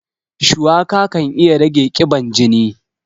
Shuwaka kan iya rage ƙiban jini.